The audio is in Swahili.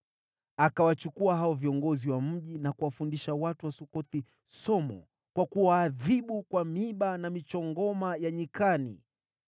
Akawachukua hao viongozi wa mji na kuwafundisha watu wa Sukothi somo kwa kuwaadhibu kwa miiba na michongoma ya nyikani.